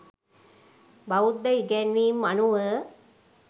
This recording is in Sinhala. බෞද්ධ ඉගැන්වීම් අනුව